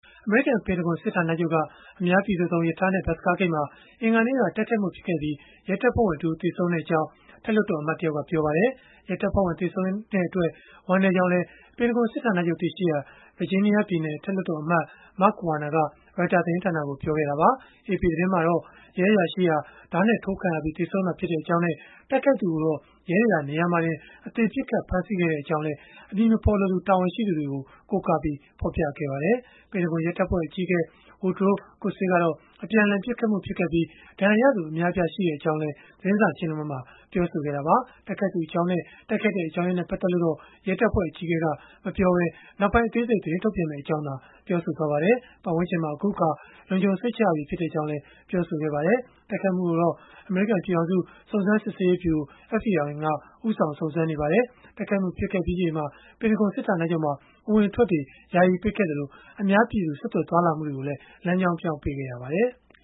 အမေရိကန် ပင်တဂွန်စစ်ဌာနချုပ်က အများပြည်သူသုံး ရထားနဲ့ ဘတ်စ်ကားဂိတ်မှာ အင်္ဂါနေ့က တိုက်ခိုက်မှုဖြစ်ပွားပြီး ရဲတပ်ဖွဲ့ဝင်တဦး သေဆုံးခဲ့ကြောင်း အထက်လွှတ်တော် အမတ်တယောက်က ပြောပါတယ်။ ရဲတပ်ဖွဲ့ဝင် သေဆုံးခဲ့ရတဲ့အတွက် ဝမ်းနည်းကြောင်းလည်း ပင်တဂွန်စစ်ဌာနချုပ် တည်ရှိရာ ဗာဂျီးနီးယားပြည်နယ် အထက်လွှတ်တော်အမတ် Mark Warner က Reuters သတင်းဌာနကို ပြောဆိုခဲ့တာပါ။ AP သတင်းမှာတော့ ရဲအရာရှိဟာ ဓားနဲ့ထိုးခံရပြီး သေဆုံးခဲ့တာဖြစ်ကြောင်းနဲ့ တိုက်ခိုက်သူကိုတော့ ရဲတွေက နေရာမှာတင် အသေပစ်ခတ် ဖမ်းဆီးခဲ့ကြောင်းလည်း အမည်မဖော်လိုသူ တာဝန်ရှိသူတွေကို ကိုးကားပြီး ဖော်ပြခဲ့ပါတယ်။ ပင်တဂွန်ရဲတပ်ဖွဲ့ အကြီးအကဲ Woodrow Kusse ကတော့ အပြန်အလှန် ပစ်ခတ်မှုဖြစ်ခဲ့ပြီး ဒဏ်ရာရသူ အများအပြား ရှိခဲ့ကြောင်းလည်း သတင်းစာရှင်းလင်းပွဲမှာ ပြောဆိုခဲ့တာပါ။ တိုက်ခိုက်သူအကြောင်းနဲ့ တိုက်ခိုက်ရတဲ့ အကြောင်းရင်းနဲ့ ပတ်သက်လို့တော့ ရဲတပ်ဖွဲ့ အကြီးအကဲက မပြောခဲ့ပဲ နောက်ပိုင်း အသေးစိတ် သတင်းထုတ်ပြန်မှာဖြစ်ကြောင်းသာ ပြောခဲ့ပါတယ်။ ပတ်ဝန်းကျင်မှာ အခုအခါ လုံခြုံစိတ်ချရပြီ ဖြစ်ကြောင်းလည်း ပြောပါတယ်။ တိုက်ခိုက်မှုကိုတော့ အမေရိကန် ပြည်ထောင်စု စုံစမ်းစစ်ဆေးရေးဗျုရို (FBI) က ဦးဆောင် စုံစမ်းနေပါတယ်။ တိုက်ခိုက်မှု ဖြစ်ခဲ့ပြီးချိန်မှာ ပင်တဂွန်စစ်ဌာနချုပ်မှာ အဝင်အထွက်တွေ ယာယီပိတ်ခဲ့သလို အများပြည်သူ ဆက်သွယ်သွားလာမှုတွေကိုလည်း လမ်းကြောင်းပြောင်း ပေးခဲ့ရပါတယ်။